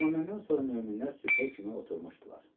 Amma məndən sonra möminlər sübhə kimi oturmuşdular.